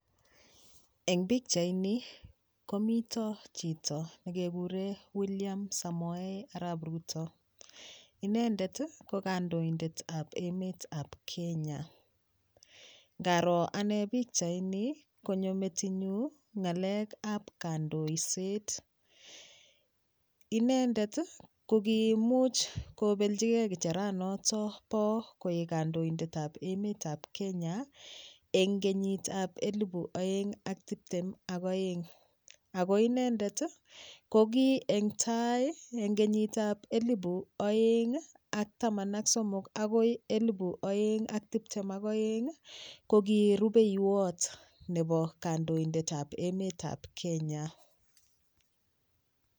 Eng pikchaini komito chito nekekure Williams Samoei arap Ruto inendet ko kandoindetab emet ab Kenya ngaro ane pikchaini konyo metinyu ng'alekab kandoiset inendet ko kiimuch kobeljigei kicheranoto bo koek kandoindetab emetab Kenya eng kenyitab elibu oeng' ak tiptem ak oeng' ako inendet ko ki eng tai eng kenyitab elibu oeng'ak taman ak somok akoi elibu oeng'ak tiptem ak oeng' ko ki rupeiwot nebo kandoindetab emetab Kenya